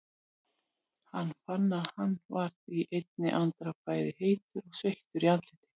Hann fann að hann varð í einni andrá bæði heitur og sveittur í andliti.